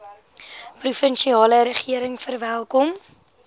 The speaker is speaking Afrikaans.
provinsiale regering verwelkom